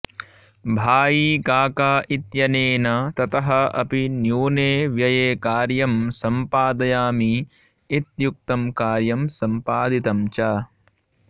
भाईकाका इत्यनेन ततः अपि न्यूने व्यये कार्यं सम्पादयामि इत्युक्तं कार्यं सम्पादितं च